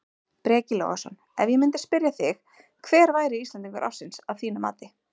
Breki Logason: Ef ég myndi spyrja þig hver væri Íslendingur ársins að þínu mati?